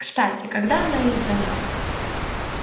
кстати когда она издана